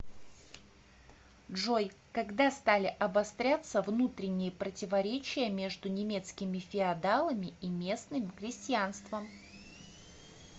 джой когда стали обостряться внутренние противоречия между немецкими феодалами и местным крестьянством